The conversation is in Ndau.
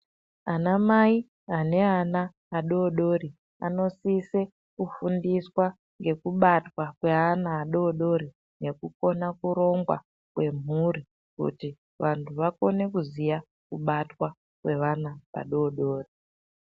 Anamai aneana adodori anosise kufundiswa ngekubatwa kweana adodori nekukona kurongwa kwemhuri. Kuti vantu vakone kuziya kubatwa kwevana vadodori.